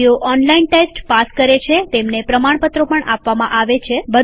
જેઓ online test pass કરે છે તેમને પ્રમાણપત્રો પણ આપીએ છીએ